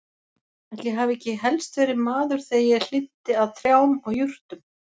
Ætli ég hafi ekki helst verið maður þegar ég hlynnti að trjám og jurtum.